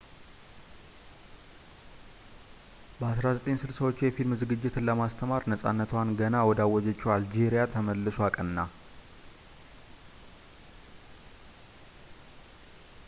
በ1960ዎቹ የፊልም ዝግጅትን ለማስተማር ነፃነቷን ገና ወዳገኘችው አልጄሪያ ተመልሶ አቀና